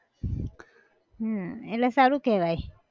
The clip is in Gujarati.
હમ એટલે સારું કહેવાય